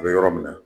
A bɛ yɔrɔ min na